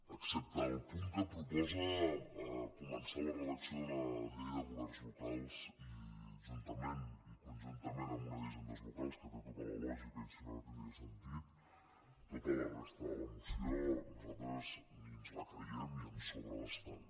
excepte el punt que proposa començar la redacció d’una llei de governs locals i juntament i conjuntament amb una d’hisendes locals que té tota la lògica i si no no tin·dria sentit tota la resta de la moció nosaltres ni ens la creiem i ens sobra bastant